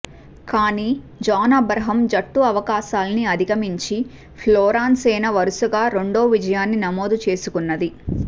కానీ John Abraham జట్టు అవకాశాలన్నీ అధిగమించి ఫోర్లాన్ సేన వరుసగా రెండో విజయాన్ని నమోదు చేసుకున్నది